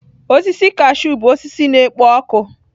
Osisi kashụ bụ osisi na-ekpo ọkụ.